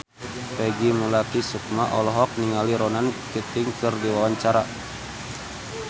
Peggy Melati Sukma olohok ningali Ronan Keating keur diwawancara